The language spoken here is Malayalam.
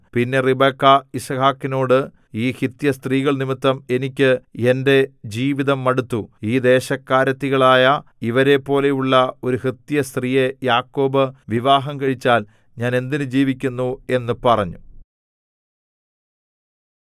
പിന്നെ റിബെക്കാ യിസ്ഹാക്കിനോട് ഈ ഹിത്യസ്ത്രീകൾ നിമിത്തം എനിക്ക് എന്‍റെ ജീവിതം മടുത്തു ഈ ദേശക്കാരത്തികളായ ഇവരെപ്പോലെയുള്ള ഒരു ഹിത്യസ്ത്രീയെ യാക്കോബ് വിവാഹം കഴിച്ചാൽ ഞാൻ എന്തിന് ജീവിക്കുന്നു എന്നു പറഞ്ഞു